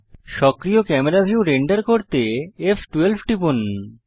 সক্রিয় camera view render করতে ফ12 টিপুন